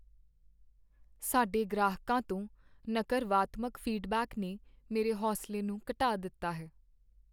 ਸਾਡੇ ਗ੍ਰਾਹਕਾਂ ਤੋਂ ਨਕਰਵਾਤਮਕ ਫੀਡਬੈਕ ਨੇ ਮੇਰੇ ਹੌਸਲੇ ਨੂੰ ਘਟਾ ਦਿੱਤਾ ਹੈ।